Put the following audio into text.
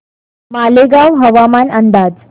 मालेगाव हवामान अंदाज